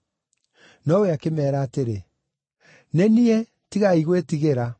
Nowe akĩmeera atĩrĩ, “Nĩ niĩ; tigai gwĩtigĩra.”